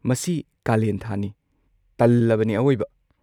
ꯃꯁꯤ ꯀꯥꯂꯦꯟ ꯊꯥꯅꯤ, ꯇꯜꯂꯕꯅꯤ ꯑꯋꯣꯏꯕ!